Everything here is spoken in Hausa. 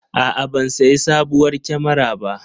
A'a, ban sayi sabuwar kyamara ba.